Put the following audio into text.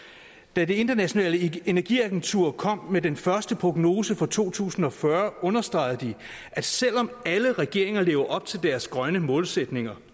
da det internationale energiagentur kom med den første prognose for to tusind og fyrre understregede de at selv om alle regeringer lever op til deres grønne målsætninger